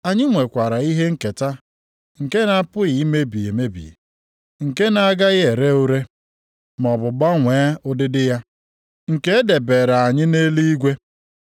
Anyị nwekwara ihe nketa nke na-apụghị imebi emebi, nke na-agaghị ere ure, maọbụ gbanwee ụdịdị ya, nke e debeere anyị nʼeluigwe.